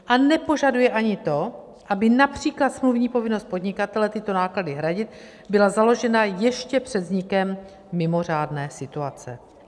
A nepožaduje ani to, aby například smluvní povinnost podnikatele tyto náklady hradit byla založena ještě před vznikem mimořádné situace.